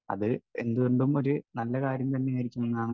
speaker 1 അത് എന്തുകൊണ്ടും ഒരു നല്ല കാര്യം തന്നെ ആയിരിക്കും എന്നാണ്